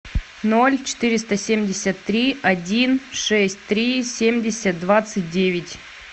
ноль четыреста семьдесят три один шесть три семьдесят двадцать девять